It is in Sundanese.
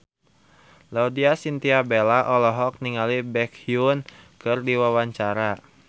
Laudya Chintya Bella olohok ningali Baekhyun keur diwawancara